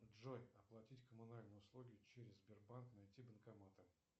джой оплатить коммунальные услуги через сбербанк найти банкоматы